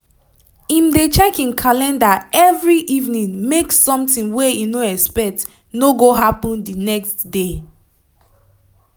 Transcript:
im dey check im calendar every evening make sometin wey im no expect no go happen d next day